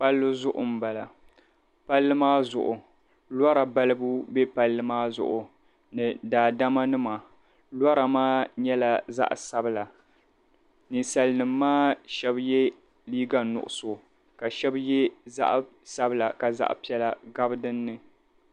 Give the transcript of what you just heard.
Palli zuɣu m-bala palli maa zuɣu lɔra balibu pam be palli maa zuɣu ni daadamanima lora maa nyɛla zaɣ' sabila ninsalinima maa shɛba yɛla liiga nuɣiso ka shɛba ye zaɣ' sabila ka zaɣ' piɛla gabi dinni.